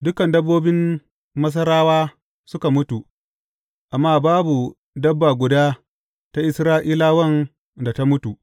Dukan dabbobin Masarawa suka mutu, amma babu dabba guda ta Isra’ilawan da ta mutu.